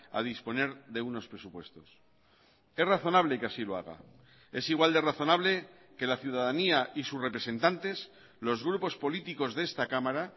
a disponer de unos presupuestos es razonable que así lo haga es igual de razonable que la ciudadanía y sus representantes los grupos políticos de esta cámara